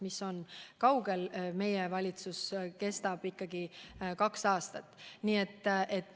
See aeg on veel kaugel, meie valitsus kestab kaks aastat.